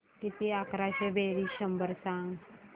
किती अकराशे बेरीज शंभर सांग